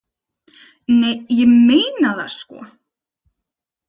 Nei, ég meina það, sko.